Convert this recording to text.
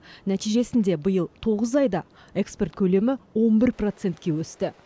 нәтижесінде биыл тоғыз айда экспорт көлемі он бір процентке өсті